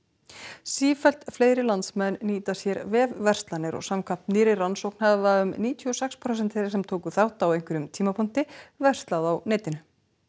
sífellt fleiri landsmenn nýta sér vefverslanir og samkvæmt nýrri rannsókn hafa um níutíu og sex prósent þeirra sem tóku þátt á einhverjum tímapunkti verslað á netinu